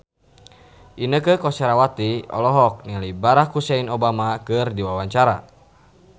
Inneke Koesherawati olohok ningali Barack Hussein Obama keur diwawancara